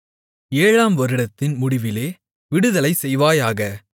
ஏழாம் வருடத்தின் முடிவிலே விடுதலைசெய்வாயாக